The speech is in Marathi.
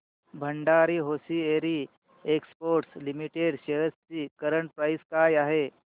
Bhandari hosiery exports limited shares ची करंट प्राइस काय आहे